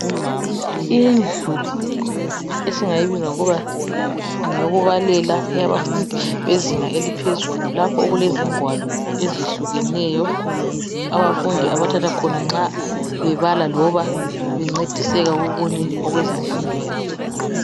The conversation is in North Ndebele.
Indlu esingayibiza ngokuba ngeyokubalela eyabafundi bezinga eliphezulu lapho okulezingwalo ezehlukeneyo abafundi abathatha khona nxa bebala loba bencediseka kokunye okwezemfundo yabo.